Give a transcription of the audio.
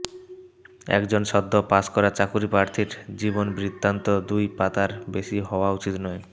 একজন সদ্য পাস করা চাকুরীপ্রার্থীর জীবনবৃত্তান্ত দুই পাতার বেশি হওয়া উচিত নয়